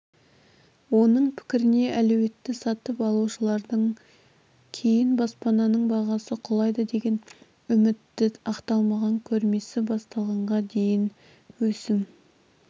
оның пікіріне әлеуетті сатып алушылардың кейін баспананың бағасы құлайды деген үміті ақталмаған көрмесі басталғанға дейін өсім